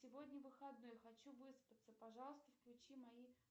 сегодня выходной хочу выспаться пожалуйста включи мои